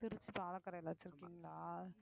திருச்சி பாலக்கரையிலே வச்சிருக்கீங்களா